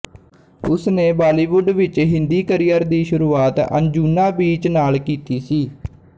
ਉਸਨੇ ਬਾਲੀਵੁੱਡ ਵਿੱਚ ਹਿੰਦੀ ਕਰੀਅਰ ਦੀ ਸ਼ੁਰੂਆਤ ਅੰਜੁਨਾ ਬੀਚ ਨਾਲ ਕੀਤੀ ਸੀ